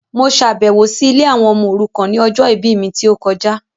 Mo ṣàbẹ̀wọ̀ si ilé àwọn ọmọ òrukàn ni ọjọ ìbí mi ti o kojá